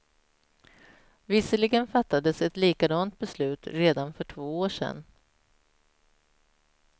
Visserligen fattades ett likadant beslut redan för två år sedan.